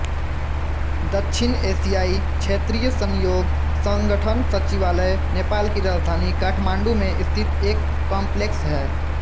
दक्षिण एशियाई क्षेत्रीय सहयोग संगठन सचिवालय नेपाल की राजधानी काठमांडू में स्थित एक कॉमप्लेक्स है